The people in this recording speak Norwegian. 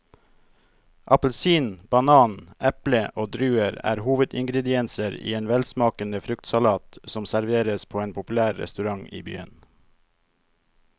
Appelsin, banan, eple og druer er hovedingredienser i en velsmakende fruktsalat som serveres på en populær restaurant i byen.